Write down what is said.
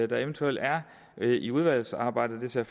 der eventuelt er i udvalgsarbejdet det ser